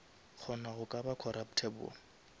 kgona go ka ba corruptable